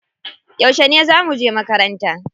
Yauce za muje makaranta?